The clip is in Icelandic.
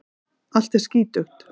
Allt er skítugt.